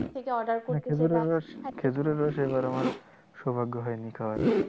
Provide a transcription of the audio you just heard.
খেজুরের রস, খেজুরের রস এবারে আমার সৌভাগ্য হয়নি খাওয়ার ।